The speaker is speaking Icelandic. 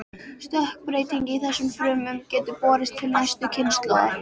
Stökkbreyting í þessum frumum getur borist til næstu kynslóðar.